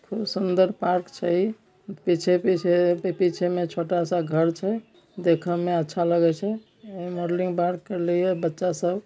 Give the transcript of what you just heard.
खुब सुंदर पार्क छे ई पीछे-पीछे पीछे में छोटा सा घर छे दिखने में अच्छा लगे छे ई मॉडलिंग बार करले ह बच्चा सब।